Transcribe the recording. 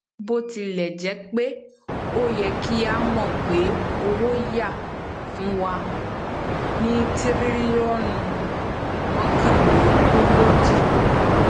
bòtilèjépé o ye kí a mọ pé owoya fún wa ní tiriliọnu mẹkànlélógójì